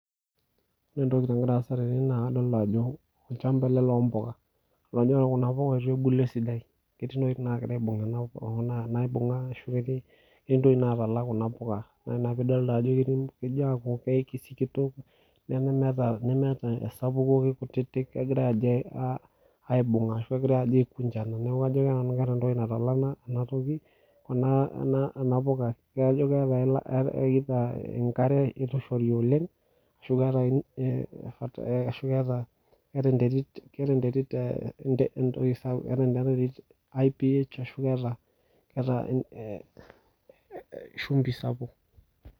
ore entoki nagira aasa tene naa kalita ajo olchamba ele loo mbuka, todua kuna puka eitu ebulu esidai etii ntokiting nagira aibung okuna kuna naibung'a ashu ketii ketii ntokiting naatala kuna puka, naa ina pidolita ajo kitii kejaaku kisikitok nemeeta nemeeta esapuko kikutitik, kegira ajo aa aibung'a ashu kegira aajo aikunjana neeku kajo ake nanu keeta entoki natala ina ina toki, ina ina puka kajo keeta eila enkare eitu eishori oleng ashu keeta ing aah ashu keeta, keeta enterit keeta enterit entoki sapuk, keeta ina terit iph ashu keeta keeta eeh shumbi sapuk.